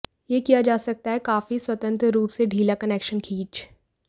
यह किया जा सकता है काफी स्वतंत्र रूप से ढीला कनेक्शन खींच